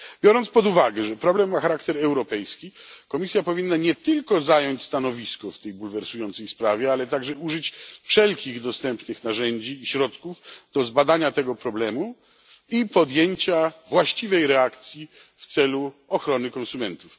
Biorąc pod uwagę, że problem ma charakter europejski, Komisja powinna nie tylko zająć stanowisko w tej bulwersującej sprawie, ale także użyć wszelkich dostępnych narzędzi i środków do zbadania tego problemu i podjęcia właściwej reakcji w celu ochrony konsumentów.